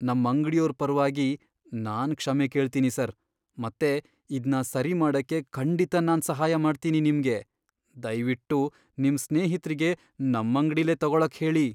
ನಮ್ಮಂಗ್ಡಿಯೋರ್ ಪರವಾಗಿ ನಾನ್ ಕ್ಷಮೆ ಕೇಳ್ತೀನಿ ಸರ್, ಮತ್ತೆ ಇದ್ನ ಸರಿ ಮಾಡಕ್ಕೆ ಖಂಡಿತ ನಾನ್ ಸಹಾಯ ಮಾಡ್ತೀನಿ ನಿಮ್ಗೆ. ದಯ್ವಿಟ್ಟು ನಿಮ್ ಸ್ನೇಹಿತ್ರಿಗೆ ನಮ್ಮಂಗ್ಡಿಲೇ ತಗೊಳಕ್ ಹೇಳಿ.